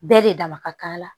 Bɛɛ de dama ka k'a la